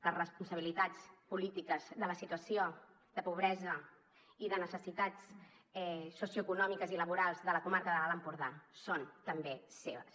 les responsabilitats polítiques de la situació de pobresa i de necessitats socioeconòmiques i laborals de la comarca de l’alt empordà són també seves